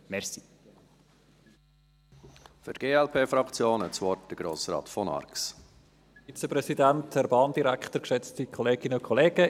Herr Vizepräsident, Herr Bahndirektor, geschätzte Kolleginnen und Kollegen.